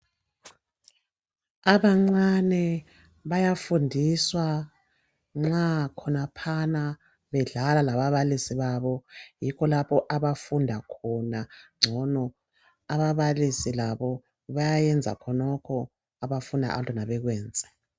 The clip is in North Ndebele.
Abancane bayafundiswa nxa khonaphana bedlala lababalisi babo yikho lapho abafunda khona ngcono . Ababalisi labo bayayenza khonokho abafuna abantwana bakwenze.